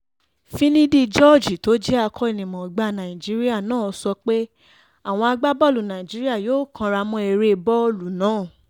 finidi george tó jẹ́ akó̩nimò̩ó̩gbá nàìjíríà náà sọ pé àwọn agbábọ́ọ̀lù nàìjíríà yóò káràmó̩ eré bó̩ò̩lù náà